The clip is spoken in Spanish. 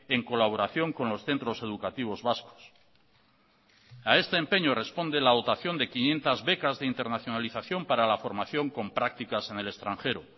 en colaboración con los centros educativos vascos a este empeño responde la dotación de quinientos becas de internacionalización para la formación con prácticas en el extranjero